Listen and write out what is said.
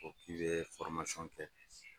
N'i ko k'i bɛ kɛ